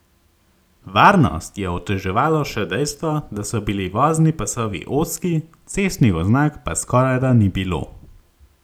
Varnost je oteževalo še dejstvo, da so bili vozni pasovi ozki, cestnih oznak pa skorajda ni bilo.